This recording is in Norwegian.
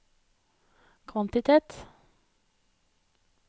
kvantitet